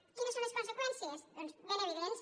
quines són les conseqüències doncs ben evidents